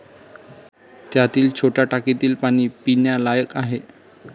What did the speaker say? त्यातील छोट्या टाक्यातील पाणी पिण्यालायक आहे